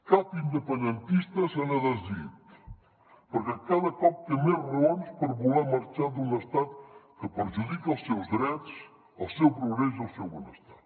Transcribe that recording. cap independentista se n’ha desdit perquè cada cop té més raons per voler marxar d’un estat que perjudica els seus drets el seu progrés i el seu benestar